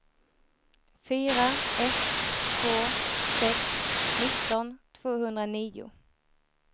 fyra ett två sex nitton tvåhundranio